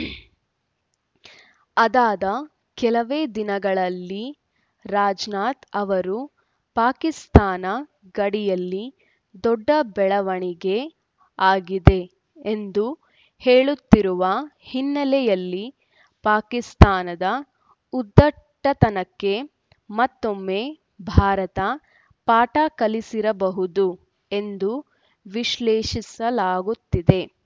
ಅದಾದ ಕೆಲವೇ ದಿನಗಳಲ್ಲಿ ರಾಜನಾಥ್‌ ಅವರು ಪಾಕಿಸ್ತಾನ ಗಡಿಯಲ್ಲಿ ದೊಡ್ಡ ಬೆಳವಣಿಗೆ ಆಗಿದೆ ಎಂದು ಹೇಳುತ್ತಿರುವ ಹಿನ್ನೆಲೆಯಲ್ಲಿ ಪಾಕಿಸ್ತಾನದ ಉದ್ಧಟತನಕ್ಕೆ ಮತ್ತೊಮ್ಮೆ ಭಾರತ ಪಾಠ ಕಲಿಸಿರಬಹುದು ಎಂದು ವಿಶ್ಲೇಷಿಸಲಾಗುತ್ತಿದೆ